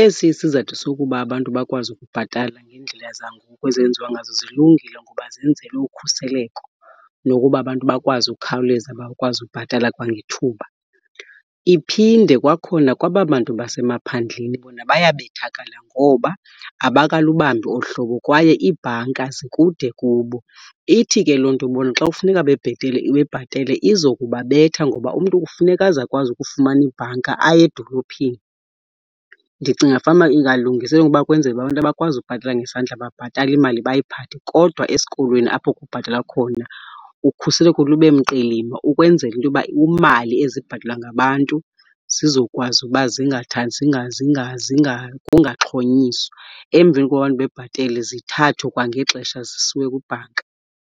Esi isizathu sokuba abantu bakwazi ukubhatala ngeendlela zangoku ezenziwa ngazo zilungile, ngoba zenzelwe ukhuseleko nokuba abantu bakwazi ukukhawuleza bakwazi ubhatala kwangethuba. Iphinde kwakhona kwaba bantu basemaphandleni bona bayabethakala ngoba abakalubambi olu hlobo kwaye iibhanka zikude kubo. Ithi ke loo nto bona xa kufuneka bebhetele, bebhatele izokubabetha ngoba umntu kufuneka aze akwazi ukufumana ibhanka aye edolophini. Ndicinga fanuba ingalungiselelwa ukuba kwenzelwe abantu abakwazi ukubhatala ngesandla babhatale imali bayiphathe. Kodwa esikolweni apho kubhatalwa khona ukhuseleko lube mqilima ukwenzela into yoba iimali ezibhatalwa ngabantu zizokwazi uba kungaxhonyiswa. Emveni koba abantu bebhatele zithathwe kwangexesha zisiwe kwibhanka.